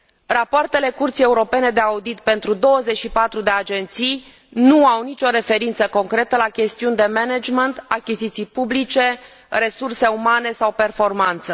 Rapoartele Curții Europene de Conturi pentru 24 de agenții nu au nicio referință concretă la chestiuni de management, achiziții publice, resurse umane sau performanță.